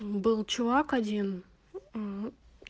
был чувак один